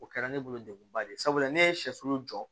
O kɛra ne bolo deguba de ye sabula ne ye sɛsu jɔ